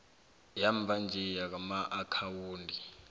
yamva nje yamaakhawundi